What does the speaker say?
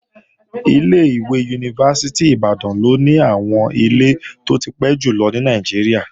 Ilé-ìwé Yunifásítì Ìbàdàn ló ní àwọn ilé tó ti pẹ́ jùlọ ní Nàìjíríà